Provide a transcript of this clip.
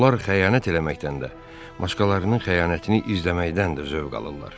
Onlar xəyanət eləməkdən də, başqalarının xəyanətini izləməkdən də zövq alırlar.